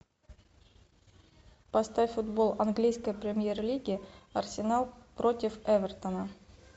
поставь футбол английской премьер лиги арсенал против эвертона